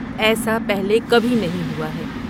ایسا پہلے کبھی نہیں ہوا ہے۔